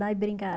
Vai brincar.